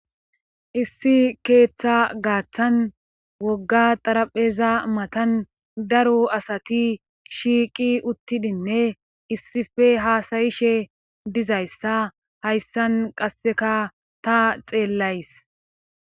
Issi keeththa gaaththan wogga xarapheza matan daru asati shiiqi uttidinne issife haasayishe dizayssa hayssan qasseka ta xeellays